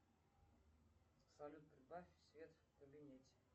салют прибавь свет в кабинете